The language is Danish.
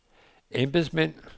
embedsmænd